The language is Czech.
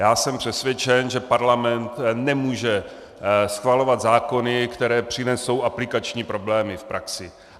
Já jsem přesvědčen, že Parlament nemůže schvalovat zákony, které přinesou aplikační problémy v praxi.